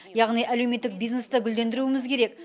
яғни әлеуметтік бизнесті гүлдендіруіміз керек